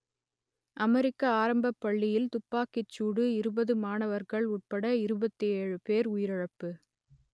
அமெரிக்க ஆரம்பப் பள்ளியில் துப்பாக்கிச் சூடு இருபது மாணவர்கள் உட்பட இருபத்தி ஏழு பேர் உயிரிழப்பு